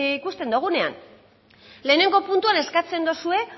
ikusten dugunean lehenengo puntuan eskatzen dozue